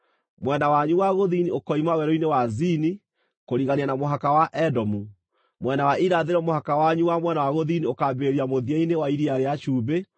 “ ‘Mwena wanyu wa gũthini ũkoima Werũ-inĩ wa Zini kũrigania na mũhaka wa Edomu. Mwena wa irathĩro, mũhaka wanyu wa mwena wa gũthini ũkaambĩrĩria mũthia-inĩ wa Iria rĩa Cumbĩ,